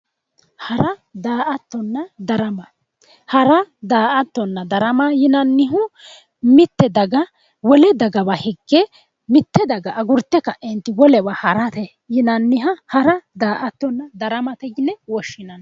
Hara daa"attonna darama hara daa"attonna darama yinannihu mitte daga wole dagawa higge mitte daga agurte ka'eenti wolewa harate yinanniha hara daa"attonna daramate yine woshshinanni